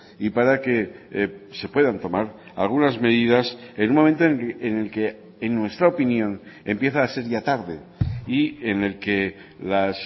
y para que se puedan tomar algunas medidas en un momento en el que en nuestra opinión empieza a ser ya tarde y en el que las